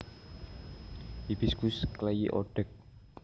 Hibiscus clayi O Deg